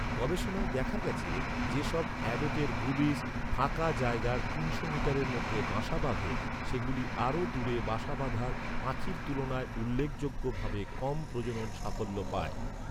গবেষণায় দেখা গেছে, যে সব অ্যাবটের বুবিস, ফাঁকা জায়গার তিনশো মিটারের মধ্যে বাসা বাঁধে, সেগুলি আরও দূরে বাসা বাঁধার পাখির তুলনায় উল্লেখযোগ্য ভাবে কম প্রজনন সাফল্য পায়।